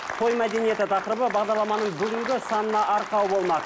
той мәдинеті тақырыбы бағдарламаның бүгінгі санына арқау болмақ